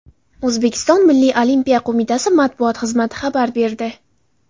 O‘zbekiston Milliy Olimpiya qo‘mitasi matbuot xizmati xabar berdi .